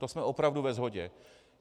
To jsme opravdu ve shodě.